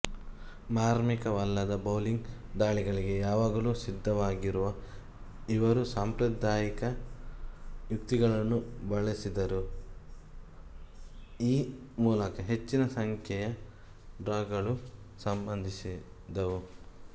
ಮಾರ್ಮಿಕವಲ್ಲದ bowling ದಾಳಿಗಳಿಗೆ ಯಾವಾಗಲೂ ಸಿದ್ಧರಾಗಿರುವ ಇವರು ಸಾಂಪ್ರದಾಯಿಕ ಯುಕ್ತಿಗಳನ್ನು ಬಳಸಿದರು ಈ ಮೂಲಕ ಹೆಚ್ಚಿನ ಸಂಖ್ಯೆಯ ಡ್ರಾಗಳು ಸಂಭವಿಸಿದವು